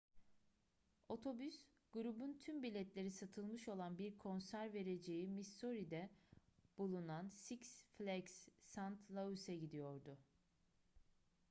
otobüs grubun tüm biletleri satılmış olan bir konser vereceği missouri'de bulunan six flags st louis'e gidiyordu